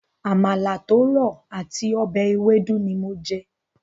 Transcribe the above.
Àmàlà tó rọ̀ àti ọbẹ̀ ewédú ni mo jẹ.